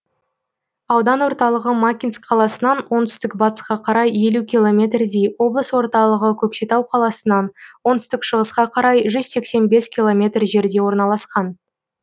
аудан орталығы макинск қаласынан оңтүстік батысқа қарай елу километрдей облыс орталығы көкшетау қаласынан оңтүстік шығысқа қарай жүз сексен бес километр жерде орналасқан